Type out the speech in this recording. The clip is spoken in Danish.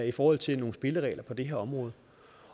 i forhold til nogle spilleregler på det her område